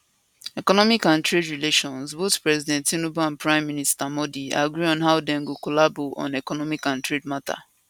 economic and trade relationship both president tinubu and prime minister modi agree on how dem go collabo on economic and trade matter